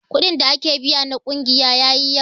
Kuɗin da ake biya na ƙungiya yayi yawa.